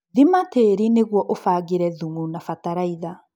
Thima tĩri nĩguo ũbangĩre thumu na batalaitha